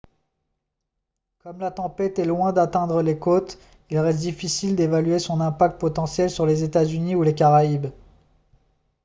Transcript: comme la tempête est loin d'atteindre les côtes il reste difficile d'évaluer son impact potentiel sur les états-unis ou les caraïbes